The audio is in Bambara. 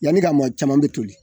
Yani k'a mɔ caman be toli.